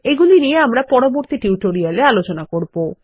এগুলি নিয়ে আমরা পরবর্তী টিউটোরিয়ালে আলোচনা করব